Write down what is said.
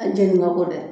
A jɛni ba kɔ dɛ